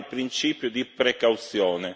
Vale il principio di precauzione.